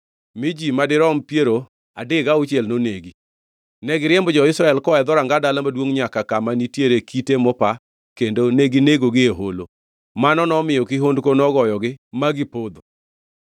mi ji madirom piero adek gauchiel nonegi. Ne giriembo jo-Israel koa e dhoranga dala maduongʼ nyaka kama nitiere kite mopa kendo neginegogi e holo. Mano nomiyo kihondko nogoyogi ma gipodho.